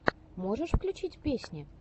можешь включить песни